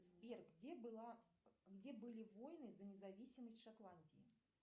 сбер где была где были войны за независимость шотландии